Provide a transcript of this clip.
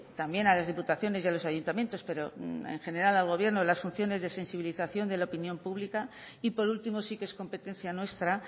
también a las diputaciones y a los ayuntamientos pero en general al gobierno las funciones de sensibilización de la opinión pública y por último sí que es competencia nuestra